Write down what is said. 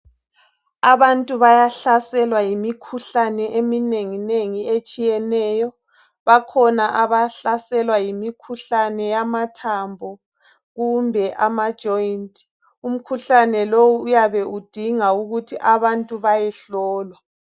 Abantu bayahlaselwa yimikhuhlane eminenginengi etshiyeneyo. Bakhona abahlaselwa yimikhuhlane yamathambo kumbe eyamajoint. Imikhuhlane le iyabe idinga ukuthi abantu bayehlolwa.